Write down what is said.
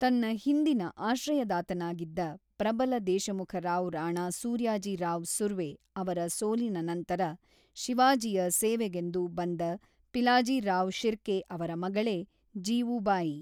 ತನ್ನ ಹಿಂದಿನ ಆಶ್ರಯದಾತನಾಗಿದ್ದ ಪ್ರಬಲ ದೇಶಮುಖ ರಾವ್ ರಾಣಾ ಸೂರ್ಯಾಜಿರಾವ್ ಸುರ್ವೆ ಅವರ ಸೋಲಿನ ನಂತರ ಶಿವಾಜಿಯ ಸೇವೆಗೆಂದು ಬಂದ ಪಿಲಾಜಿರಾವ್ ಶಿರ್ಕೆ ಅವರ ಮಗಳೇ ಜೀವೂಬಾಯಿ.